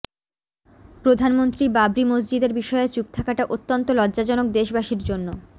প্রধানমন্ত্রী বাবরি মসজিদের বিষয়ে চুপ থাকাটা অত্যন্ত লজ্জাজনক দেশবাসির জন্য